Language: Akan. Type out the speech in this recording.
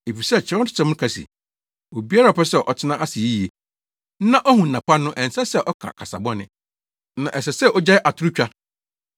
Efisɛ Kyerɛwsɛm no ka se, “Obiara a ɔpɛ sɛ ɔtena ase yiye na ohu nna pa no, ɛnsɛ sɛ ɔka kasa bɔne, na ɛsɛ sɛ ogyae atorotwa.